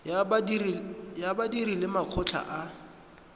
ya badiri le makgotla a